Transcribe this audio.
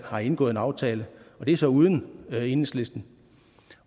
har indgået en aftale og det er så uden enhedslisten